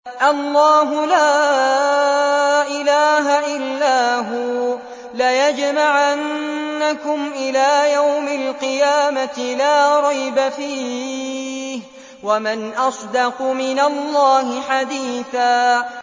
اللَّهُ لَا إِلَٰهَ إِلَّا هُوَ ۚ لَيَجْمَعَنَّكُمْ إِلَىٰ يَوْمِ الْقِيَامَةِ لَا رَيْبَ فِيهِ ۗ وَمَنْ أَصْدَقُ مِنَ اللَّهِ حَدِيثًا